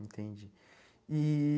Entendi. E